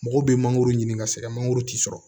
Mɔgɔw bɛ mangoro ɲini ka sɛgɛn mangoro ti sɔrɔ